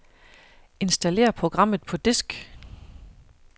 Installer programmet på disk.